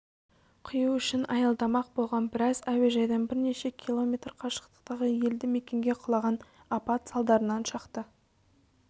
құю үшін аялдамақ болған бірақ әуежайдан бірнеше километр қашықтықтағы елді мекенге құлаған апат салдарынан шақты